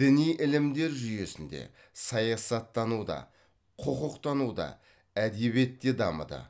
діни ілімдер жүйесінде саясаттануда құқықтануда әдебиетте дамыды